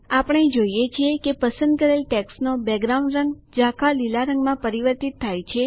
આપણે જોઈએ છીએ કે પસંદ કરેલ ટેક્સ્ટનો બેકગ્રાઉન્ડ રંગ ઝાંખા લીલા રંગમાં પરિવર્તિત થાય છે